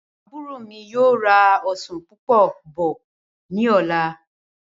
Àbúrò mí yóò ra ọsán púpọ̀ bọ̀ ní ọ̀la